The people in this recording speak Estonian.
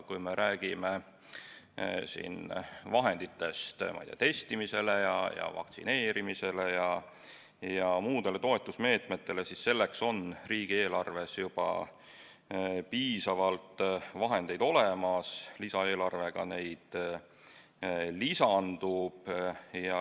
Kui me räägime siin testimise ja vaktsineerimise ja muudest toetusmeetmetest, siis nende jaoks on riigieelarves juba piisavalt vahendeid olemas, lisaeelarvega neid lisandub.